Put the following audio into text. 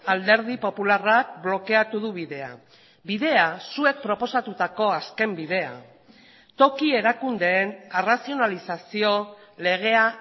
alderdi popularrak blokeatu du bidea bidea zuek proposatutako azken bidea toki erakundeen arrazionalizazio legea